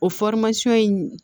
O in